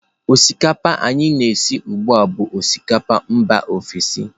Osikapa anyị na-esi ugbu a bụ osikapa mba ofesi.